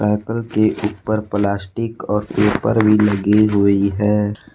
Cycle के ऊपर plastic और पेपर भी लगे हुए हैं ।